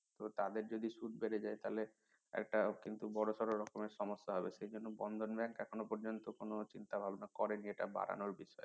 তাদের যদি সুদ বেড়ে যায় তাহলে একটা বড় সড় ধরনের সমস্যা হবে সেজন্য বন্ধন bank এখনো পর্যন্ত কোনো চিন্তা ভাবনা করেনি যেটা বাড়ানোর বিষয়